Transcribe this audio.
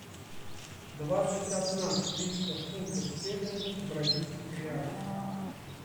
двадцать одна триста фунтов стерлингов в бразильских реалах